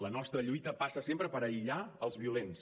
la nostra lluita passa sempre per aïllar els violents